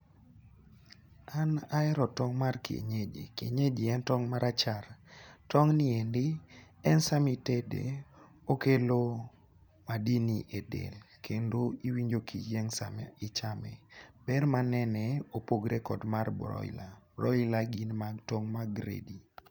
An ahero tong' mar kienyeji kienyeji en tong' marachar tong ni endi en sami tede okelo madini e del kendo iwinjo kiyieng' sama ichame .Ber manene opogore gi mar broiler, broiler gin tong' ma gredi.